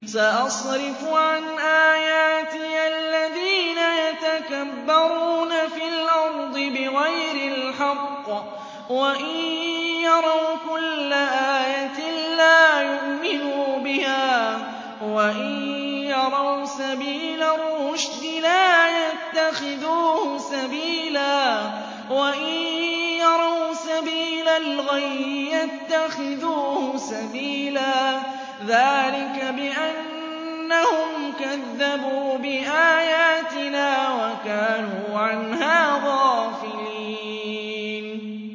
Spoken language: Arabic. سَأَصْرِفُ عَنْ آيَاتِيَ الَّذِينَ يَتَكَبَّرُونَ فِي الْأَرْضِ بِغَيْرِ الْحَقِّ وَإِن يَرَوْا كُلَّ آيَةٍ لَّا يُؤْمِنُوا بِهَا وَإِن يَرَوْا سَبِيلَ الرُّشْدِ لَا يَتَّخِذُوهُ سَبِيلًا وَإِن يَرَوْا سَبِيلَ الْغَيِّ يَتَّخِذُوهُ سَبِيلًا ۚ ذَٰلِكَ بِأَنَّهُمْ كَذَّبُوا بِآيَاتِنَا وَكَانُوا عَنْهَا غَافِلِينَ